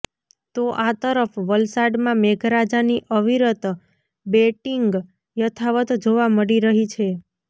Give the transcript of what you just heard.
તો આ તરફ વલસાડમાં મેઘરાજાની અવિરત બેટિંગ યથાવત જોવા મળી રહી છે